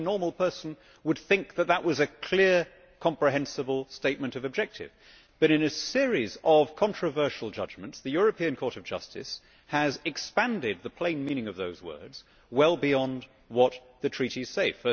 Any normal person would think that that was a clear, comprehensible statement of objective but, in a series of controversial judgments, the European Court of Justice has expanded the plain meaning of those words well beyond what the Treaties say.